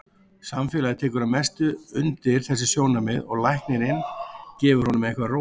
Samfélagið tekur að mestu undir þessi sjónarmið og læknirinn gefur honum eitthvað róandi.